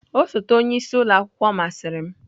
Osote onye isi ụlọ akwụkwọ masịrị m.